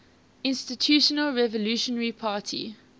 institutional revolutionary party